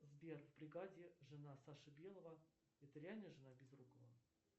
сбер в бригаде жена саши белого это реальная жена безрукова